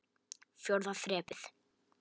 Fjórða þrepið.